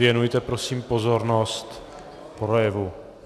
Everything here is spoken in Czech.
Věnujte prosím pozornost projevu.